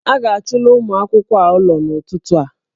A ga-achụla ụmụ akwụkwọ a ụlọ n'ụtụtụ a